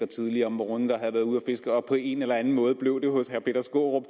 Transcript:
tidligt om morgenen havde været ude at fiske på en eller anden måde blev det hos herre peter skaarup